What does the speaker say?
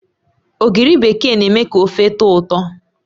Ogiri bekee na eme ka ofe tọ̀ọ ụtọ